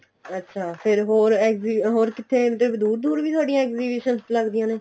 ਅੱਛਾ ਫ਼ੇਰ ਹੋਰ ਹੋਰ ਕਿੱਥੇ ਦੂਰ ਦੂਰ ਵੀ ਤੁਹਾਡੀਆਂ exhibition ਲੱਗਦੀਆਂ ਨੇ